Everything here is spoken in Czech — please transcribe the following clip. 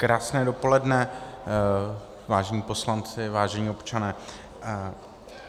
Krásné dopoledne, vážení poslanci, vážení občané.